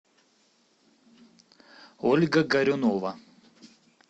ольга горюнова